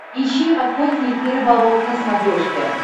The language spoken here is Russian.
ищи охотник и рыболов на смотрешке